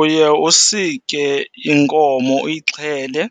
Uye usike inkomo uyixhele,